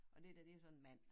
Og det dér det jo så en mand